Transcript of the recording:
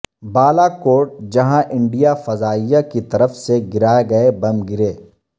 بالاکوٹ جہاں انڈیا فضائیہ کی طرف سے گرائے گئے بم گرے